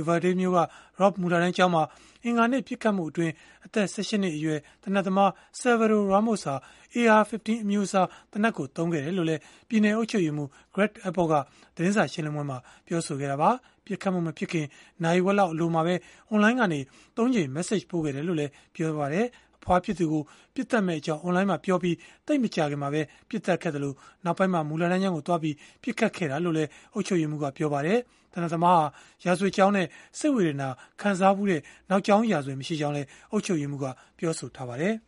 Uvalde မြို့က Robb မူလတန်းကျောင်းမှာ အင်္ဂါနေ့က ပစ်ခတ်မှုအတွင်း အသက် ၁၈ နှစ်အရွယ် သေနတ်သမား Salvador Ramos ဟာ AR-15 အမျိုးအစား သေနတ်ကို သုံးခဲ့ကြောင်းလည်း ပြည်နယ် အုပ်ချုပ်ရေးမှူး Greg Abbott က သတင်းစာ ရှင်းလင်းပွဲမှာ ပြောခဲ့ပါတယ်။ ပစ်ခတ်မှု မဖြစ်ခင် နာရီဝက်လောက် အလိုမှာပဲ အွန်လိုင်းကနေ ၃ ကြိမ် Message ပို့ခဲ့တယ်လို့လည်း ပြောပါတယ်။ အဖွားဖြစ်သူကို ပစ်သတ်မယ့်အကြောင်း အွန်လိုင်းမှာ ပြောပြီး သိပ်မကြာခင်မှာပဲ ပစ်သတ်ခဲ့ပြီး နောက်ပိုင်းမှာ မူလတန်းကျောင်းကိုသွားပြီး ပစ်ခဲ့တာလို့လည်း အုပ်ချုပ်ရေးမှူးက ပြောပါတယ်။ သေနတ်သမားဟာ ရာဇဝတ်ကြောင်းနဲ့ စိတ်ဝေဒနာ ခံစားဖူးတဲ့ နောက်ကြောင်းရာဇဝင် မရှိကြောင်းလည်း အုပ်ချုပ်ရေးမှူးက ပြောပါတယ်။